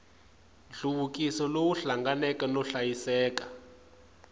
nhluvukiso lowu hlanganeke no hlayiseka